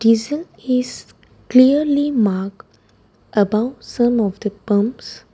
Diesel is clearly mark above some of the pumps.